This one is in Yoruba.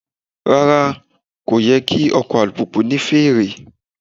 Rárá, kò yẹ kí ọkọ̀ alùpùpù ní fèrè.